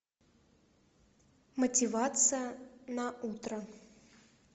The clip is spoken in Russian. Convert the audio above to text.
мотивация на утро